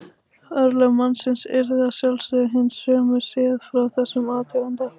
Örlög mannsins yrðu að sjálfsögðu hin sömu séð frá þessum athuganda.